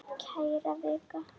Kæra Vika!